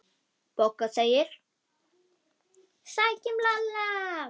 BOGGA: Sækjum Lalla!